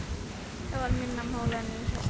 Það var minna mál en ég hélt.